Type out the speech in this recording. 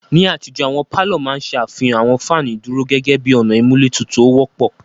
Ni àtijó, àwọn palọ ma n ṣe afihan awọn fanu iduro gẹgẹbi ọna imulé tutu o wọpọ.